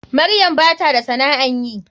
Maryam bata da sana'an yi.